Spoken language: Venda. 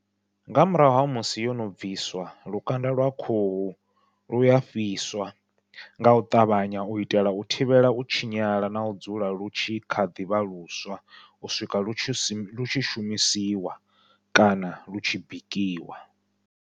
Nga murahu ha musi yono bviswa lukanda lwa khuhu luya fhiswa, ngau ṱavhanya u itela u thivhela u tshinyala nau dzula lu tshi kha ḓivha luswa u swika lu tshi shumisiwa kana lu tshi bikiwa.